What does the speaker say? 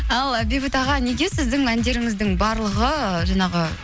ал бейбіт аға неге сіздің әндеріңіздің барлығы жаңағы